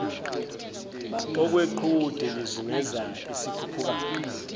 okweqhude lizungeza isikhukukazi